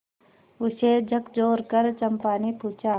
उसे झकझोरकर चंपा ने पूछा